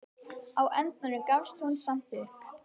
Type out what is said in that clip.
Á endanum gafst hún samt upp.